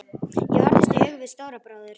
Ég horfðist í augu við Stóra bróður.